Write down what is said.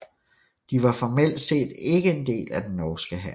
De var formelt set ikke en del af den norske hær